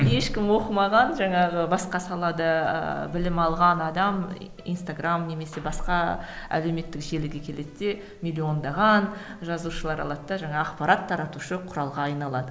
ешкім оқымаған жаңағы басқа салада білім алған адам инстаграмм немесе басқа әлеуметтік желіге келеді де миллиондаған жазушылар алады да жаңағы ақпарат таратушы құралға айналады